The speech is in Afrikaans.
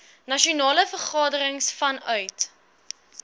nasionale vergadering vanuit